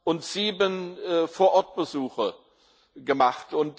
und sieben Vor Ort Besuche gemacht.